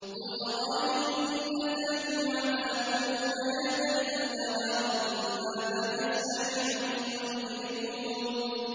قُلْ أَرَأَيْتُمْ إِنْ أَتَاكُمْ عَذَابُهُ بَيَاتًا أَوْ نَهَارًا مَّاذَا يَسْتَعْجِلُ مِنْهُ الْمُجْرِمُونَ